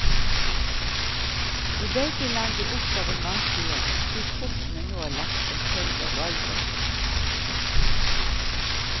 I begge land blir oppgaven vanskeligere slik kortene nå er lagt som følge av valgresultatet. punktum